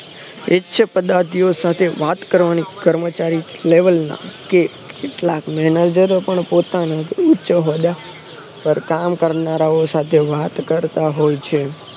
એ જ છે પદાર્થીઓ સાથે વાત કરવાની કર્મચારી level ના કે કેટલાક manager ઓ પણ પોતાની કામ કરનારાઓ સાથે વાત કરતા હોય છે